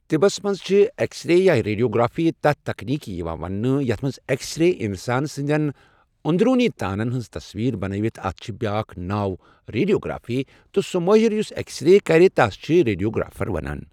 طِبس مَنٛز چھِ اؠکسرے یا ریڈیوگرٛافی تَتھ تَکنیٖکہ یِوان وَنٛنہٕ یَتھ مَنٛز اؠکس ریز اِنسان سٕنٛدٮ۪ن اۆنٛدروٗنی تانَن ہٕنٛز تَصویٖر بنٲوِتھ اَتھ چھُ بیٛاکھ ناو ریڑیوگرافی تہٕ سہ مٲہِر یُس اؠکسرے کَرِ تَس چھِ ریڈیوگرٛافر ونان